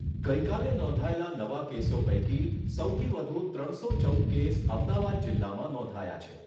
ગઈકાલે નોંધાયેલા નવા કેસો પૈકી સૌથી વધુ ત્રણસો ચૌદ કેસ અમદાવાદ જિલ્લામાં નોંધાયા છે.